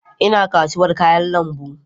Ina kasuwar kayan lambu.